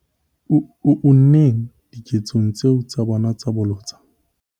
unneng diketsong tseo tsa bona tsa bolotsana.